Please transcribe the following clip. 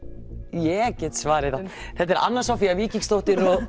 ég get svarið það anna Soffía Víkingsdóttir